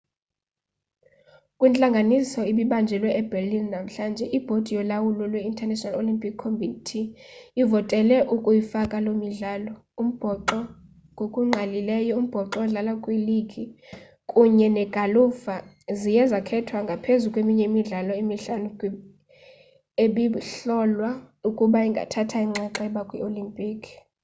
kwintlanganiso ebibanjelwe eberlin namhlanje ibhodi yolawulo lwe-international olympic committee ivotele ukuyifaka loo midlalo umbhoxo ngokungqalileyo umbhoxo odlalwa kwiligi kunye negalufa ziye zakhethwa ngaphezu kweminye imidlalo emihlanu ebihlolwa ukuba ingathatha inxaxheba kwii-olimpiki